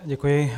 Děkuji.